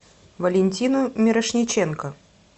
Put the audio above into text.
валентину мирошниченко